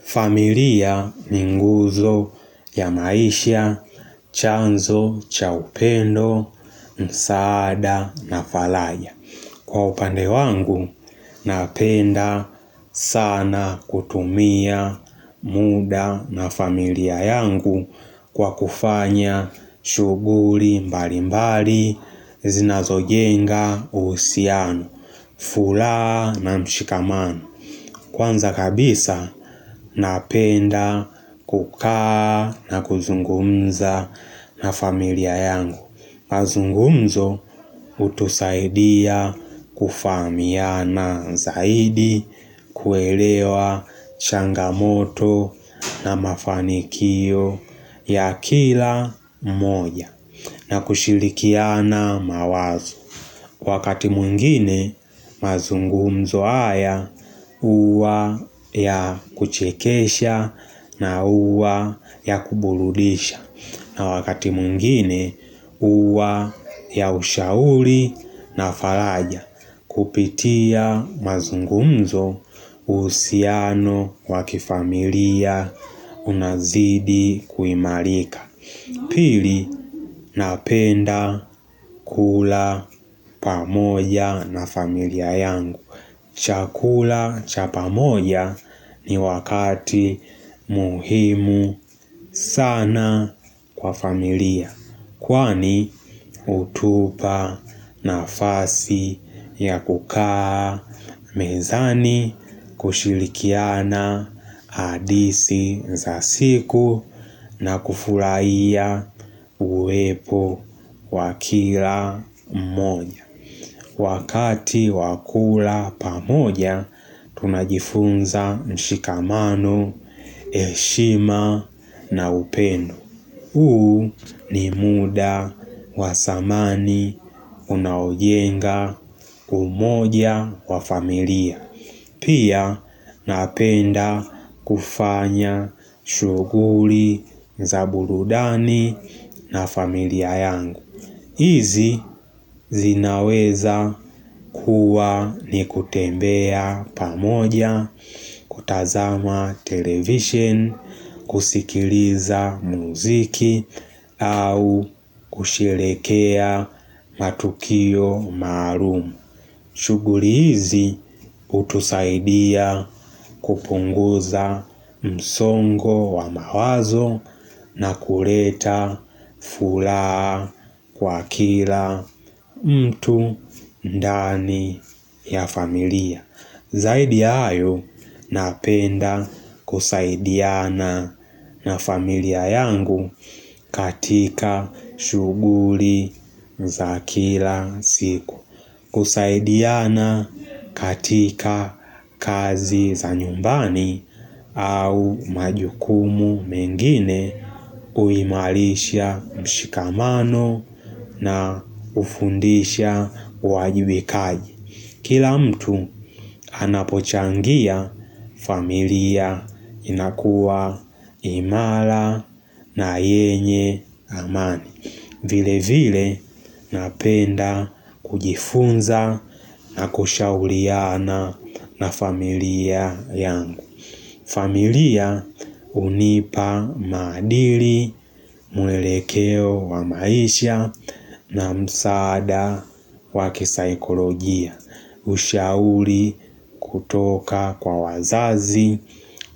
Familia ni nguzo ya maisha, chanzo, chaupendo, msaada na falaja. Kwa upande wangu, napenda sana kutumia muda na familia yangu kwa kufanya shuguri mbali mbali, zina zojenga, usiano, furaha na mshikamano. Kwanza kabisa napenda kukaa na kuzungumza na familia yangu. Mazungumzo utusaidia kufaamiana zaidi kuelewa changamoto na mafanikio ya kila mmoja na kushilikiana mawazo. Wakati mwngine mazungumzo haya uwa ya kuchekesha na uwa ya kuburudisha na wakati mwngine uwa ya ushauri na falaja Kupitia mazungumzo usiano wakifamilia unazidi kuimarika Pili napenda kula pamoja na familia yangu. Chakula cha pamoja ni wakati muhimu sana kwa familia. Kwani utupa nafasi ya kukaa mezani kushilikiana hadisi za siku na kufurahia uwepo wakila mmoja. Wakati wakula pamoja tunajifunza mshikamano, eshima na upendo. Huu ni muda wa thamani unaojenga umoja wa familia. Pia napenda kufanya shughuli za burudani na familia yangu. Izi zinaweza kuwa ni kutembea pamoja kutazama television, kusikiliza muziki au kusherehekea matukio maalumu. Shuguli hizi utusaidia kupunguza msongo wa mawazo na kureta furaha kwa kila mtu ndani ya familia. Zaidi ya ayo napenda kusaidiana na familia yangu katika shuguli za kila siku. Kusaidiana katika kazi za nyumbani au majukumu mengine uimalisha mshikamano na ufundisha wajibikaji. Kila mtu anapochangia familia inakuwa imara na yenye amani. Vile vile napenda kujifunza na kushauliana na familia yangu. Familia unipa maadili mwelekeo wa maisha na msaada waki saikolojia. Ushauli kutoka kwa wazazi